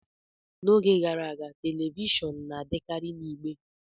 N'oge gara aga, telivishọn na-adịkarị na igbe